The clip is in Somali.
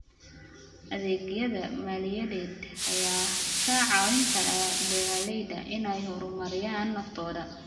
Adeegyada maaliyadeed ayaa ka caawin kara beeralayda inay horumariyaan naftooda.